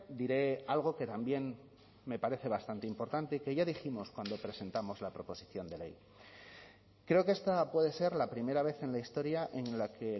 diré algo que también me parece bastante importante que ya dijimos cuando presentamos la proposición de ley creo que esta puede ser la primera vez en la historia en la que